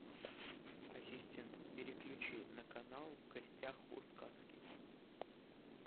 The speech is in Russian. ассистент переключи на канал в гостях у сказки